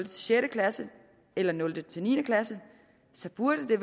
sjette klasse eller nul til niende klasse så burde det